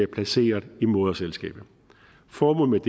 placeret i moderselskabet formålet